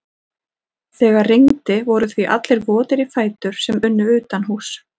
Þegar rigndi voru því allir votir í fætur sem unnu utanhúss.